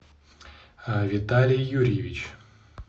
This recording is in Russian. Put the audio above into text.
виталий юрьевич